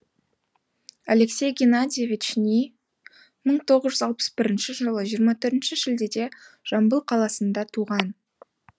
алексей геннадьевич ни мың тоғыз жүз алпыс бірінші жылы жиырма төртінші шілдеде жамбыл қаласында туған